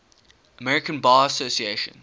american bar association